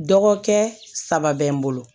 Dɔgɔkɛ saba bɛ n bolo